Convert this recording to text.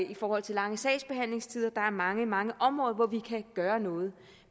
i forhold til lange sagsbehandlingstider der er mange mange områder hvor vi kan gøre noget